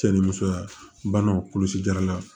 Cɛ ni musoya bana kɔlɔsi jarala